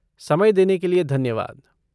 समय देने के लिए धन्यवाद।